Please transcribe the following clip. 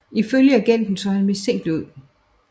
Ifølge agenten så han mistænkelig ud